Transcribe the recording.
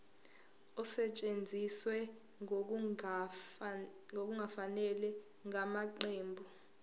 esetshenziswe ngokungafanele ngamaqembu